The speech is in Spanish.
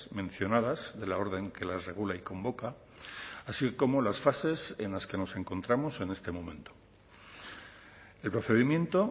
mencionadas de la orden que las regula y convoca así como las fases en las que nos encontramos en este momento el procedimiento